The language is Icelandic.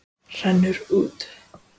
Rennur út.